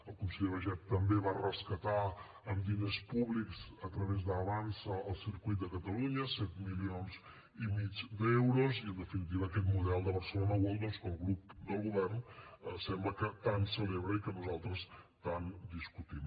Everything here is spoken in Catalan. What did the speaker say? el conseller baiget també va rescatar amb diners públics a través d’avançsa el circuit de catalunya set milions i mig d’euros i en definitiva aquest model de barcelona world doncs que el grup del govern sembla que tant celebra i que nosaltres tant discutim